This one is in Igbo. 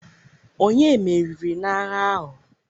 Ònye meriri n'agha ahụ?